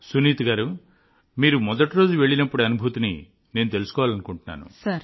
సునీత గారూ మీరు మొదటి రోజు వెళ్ళినప్పటి అనుభూతిని నేను అర్థం చేసుకోవాలనుకుంటున్నాను